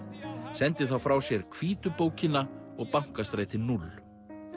sendi þá frá sér hvítu bókina og Bankastræti núll